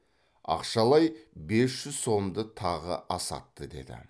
ақшалай бес жүз сомды тағы асатты деді